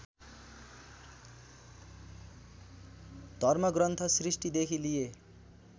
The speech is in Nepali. धर्मग्रन्थ सृष्टिदेखि लिए